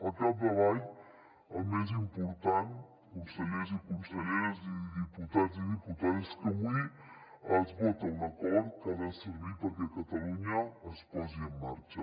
al capdavall el més important consellers i conselleres i diputats i diputades és que avui es vota un acord que ha de servir perquè catalunya es posi en marxa